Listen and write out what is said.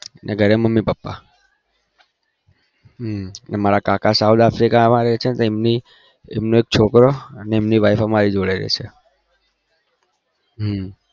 ઘરે મમ્મી પપ્પા હં મારા કાકા south africa આવ્યા છે એટલે એમનો છોકરો અમે એમની wife અમારા જોડે રે છે હમમ